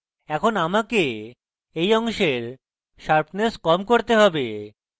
এখন আমাকে এই অংশের sharpness কম করতে have